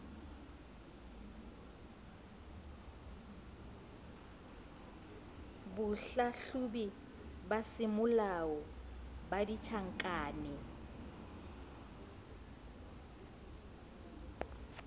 bohlahlobi ba semolao ba ditjhankane